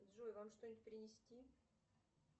джой вам что нибудь принести